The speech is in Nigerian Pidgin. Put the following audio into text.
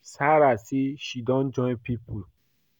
Sarah say she don join people